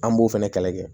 An b'o fɛnɛ kɛlɛ kɛ